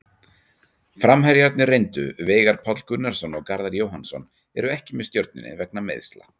Framherjarnir reyndu Veigar Páll Gunnarsson og Garðar Jóhannsson eru ekki með Stjörnunni vegna meiðsla.